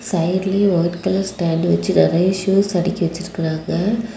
சைடுலையும் white colour stand வச்சி நிறைய shoes அடுக்கி வச்சிட்டு இருக்காங்க.